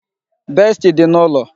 Besti dị n'ụlọ